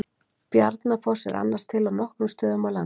Bjarnafoss er annars til á nokkrum stöðum á landinu.